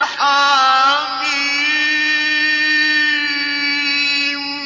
حم